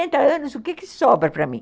E oitenta anos, o que sobra para mim?